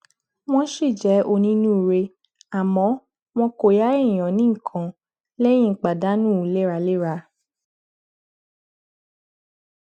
wọn ṣì jẹ onínúure àmọ wọn kò yá èèyàn ní nǹkan lẹyìn pàdánù léraléra